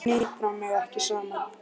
Ég hnipra mig ekki saman.